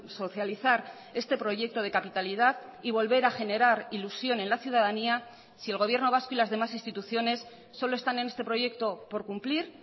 socializar este proyecto de capitalidad y volver a generar ilusión en la ciudadanía si el gobierno vasco y las demás instituciones solo están en este proyecto por cumplir